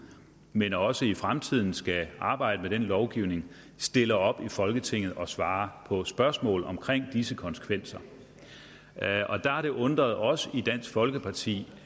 men som også i fremtiden skal arbejde med den lovgivning stiller op i folketinget og svarer på spørgsmål om disse konsekvenser der har det undret os i dansk folkeparti